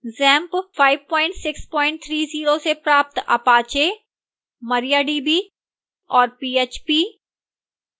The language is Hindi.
xampp 5630 से प्राप्त apache mariadb और php